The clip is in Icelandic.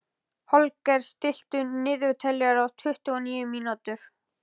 Holger, stilltu niðurteljara á tuttugu og níu mínútur.